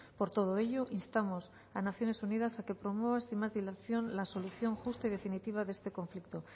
por todo ello instamos a naciones unidas a que promueva sin más dilatación la solución justa y definitiva de este conflicto